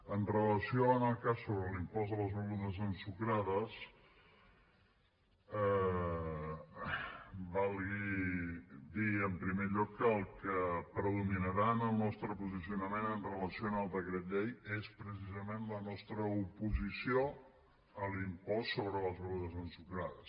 amb relació al cas sobre l’impost a les begudes ensucrades valgui dir en primer lloc que el que predominarà en el nostre posicionament amb relació al decret llei és precisament la nostra oposició a l’impost sobre les begudes ensucrades